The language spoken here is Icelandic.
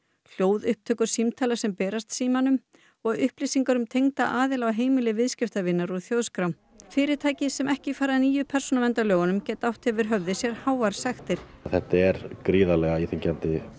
hljóðupptökur símtala sem berast Símanum og upplýsingar um tengda aðila á heimili viðskiptavinar úr þjóðskrá fyrirtæki sem ekki fara að nýju persónuverndarlögunum geta átt yfir höfði sér háar sektir þetta er gríðarlega íþyngjandi